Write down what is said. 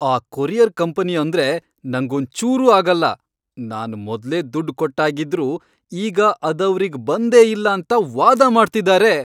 ಆ courier company ಅಂದ್ರೆ ನಂಗೊಂಚೂರೂ ಆಗಲ್ಲ. ನಾನ್ ಮೊದ್ಲೇ ದುಡ್ಡ್ ಕೊಟ್ಟಾಗಿದ್ರೂ ಈಗ ಅದವ್ರಿಗ್ ಬಂದೇ ಇಲ್ಲ ಅಂತ ವಾದ ಮಾಡ್ತಿದಾರೆ!